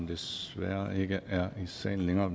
desværre ikke er i salen længere